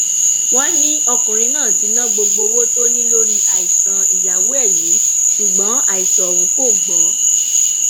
wọn ní ọkùnrin náà ti ná gbogbo owó tó ní lórí àìsàn ìyàwó ẹ yìí ṣùgbọn àìsàn ọhún kò gbọ